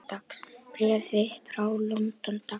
Bréf þitt frá London, dags.